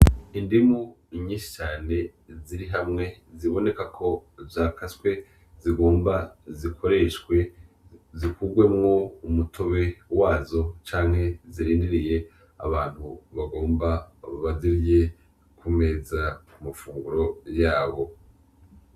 Indimu inyishane ziri hamwe ziboneka ko vyakaswe zigomba zikoreshwe zikurwemwo umutobe wazo canke zirindiriye abantu bagomba bababazirye kumeza ku mafunguro yabo.